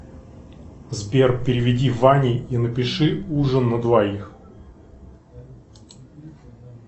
сбер переведи ване и напиши ужин на двоих